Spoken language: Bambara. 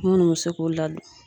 Munnu bɛ se k'u ladon.